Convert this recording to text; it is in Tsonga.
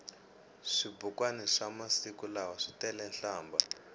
swibukwani swamasiku lawa switelenhlambha